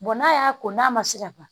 n'a y'a ko n'a ma se ka ban